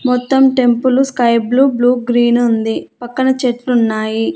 మొత్తం temple sky blue blue green ఉంది పక్కన చెట్లు ఉన్నాయి.